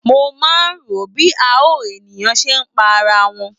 Mo máa ń ro bí àọn ènìyàn ṣe máa ń pa ara wọn.